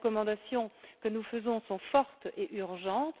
Les recommandations que nous faisons sont fortes et urgentes.